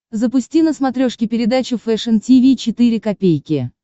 запусти на смотрешке передачу фэшн ти ви четыре ка